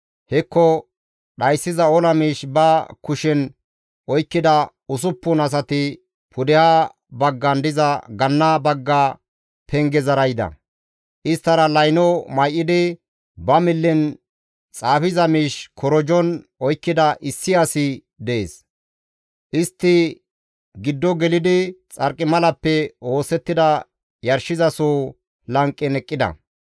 Hekko dhayssiza ola miish ba kushen oykkida usuppun asati pudeha baggan diza ganna bagga pengezara yida; isttara layno may7idi, ba millen xaafiza miish korojon oykkida issi asi dees. Istti giddo gelidi xarqimalappe oosettida yarshizaso lanqen eqqida.